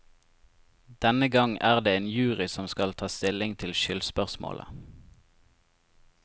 Denne gang er det en jury som skal ta stilling til skyldspørsmålet.